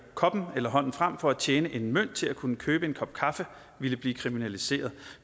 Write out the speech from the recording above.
koppen eller hånden frem for at tjene en mønt til at kunne købe en kop kaffe ville blive kriminaliseret